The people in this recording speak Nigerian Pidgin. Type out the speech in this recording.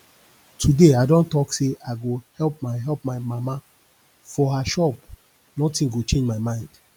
today i don talk say i go help my help my mama for her shop nothing go change my mind